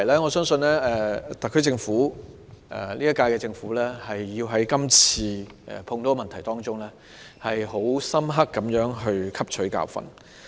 我相信今屆特區政府需要從這次事件中，就所有這些問題深刻汲取教訓。